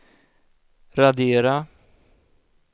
radera